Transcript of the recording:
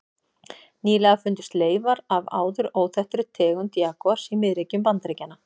Nýlega fundust leifar af áður óþekktri tegund jagúars í miðríkjum Bandaríkjanna.